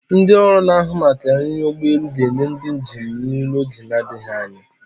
Ndị ọrụ na-ahụ maka nri ụgbọelu ga-enye ndị njem nri n'oge adịghị anya.